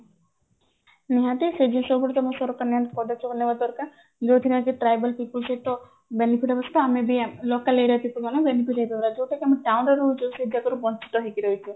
ନିହାତି ସେଇ ବିଷୟ ଗୁଡିକ ଆମ ସରକାର ନିହାତି ପଦକ୍ଷେପ ନେବା ଦରକାର ଯୋଉଥିରେ କି tribal people ସହିତ benefit ହବା ସହିତ ଆମେ ବି local area people ଆମେ benefit ହେଇପାରିବା ଯୋଉଟା କି ଆମେ town ରେ ରହୁଛେ ସୁଯୋଗ ରୁ ବଞ୍ଚିତ ହେଇକି ରହୁଛେ